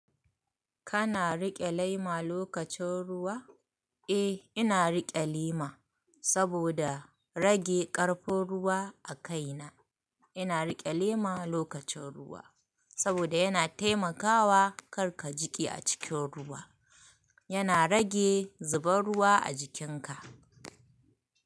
Kana riƙe lema lokacin ruwa? Eh, ina riƙe lema saboda rage ƙarfin ruwa a kaina. Ina riƙe lema lokacin ruwa saboda yana taimakawa kar ka jiƙe a cikin ruwa. Yana rage zubar ruwa a jikinka.